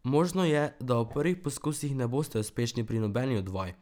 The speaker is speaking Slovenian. Možno je, da v prvih poskusih ne boste uspešni pri nobeni od vaj.